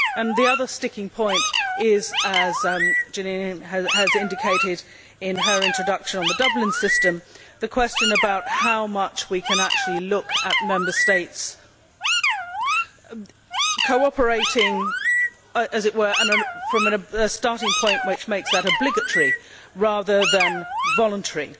The other sticking point is, as Jeanine has indicated in her introduction on the Dublin system, the question about how much we can actually look at Member States cooperating, as it were, from a starting point which makes that obligatory rather than voluntary.